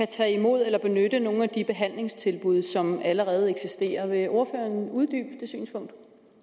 tage imod eller benytte nogle af de behandlingstilbud som allerede eksisterer vil ordføreren uddybe det synspunkt